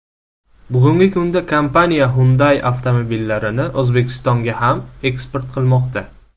Bugungi kunda kompaniya Hyundai avtomobillarini O‘zbekistonga ham eksport qilmoqda.